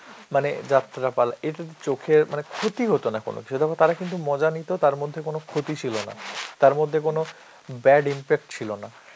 মানে যাত্রা পাল~, এটাতো চোখের মানে ক্ষতি হতো না কোন তারা কিন্তু মজা নিত, তার মধ্যে কোন ক্ষতি ছিল না. তার মধ্যে কোন bad impact ছিলনা.